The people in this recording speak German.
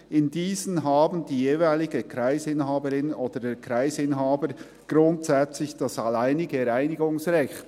In diesen haben die jeweilige Kreisinhaberin oder der Kreisinhaber grundsätzlich das alleinige Reinigungsrecht.